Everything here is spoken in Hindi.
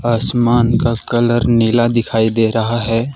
आसमान का कलर नीला दिखाई दे रहा है।